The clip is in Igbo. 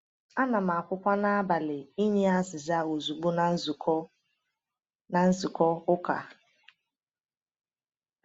Ana m akwukwa na-agbalị inye azịza ozugbo na nzukọ na nzukọ ụka.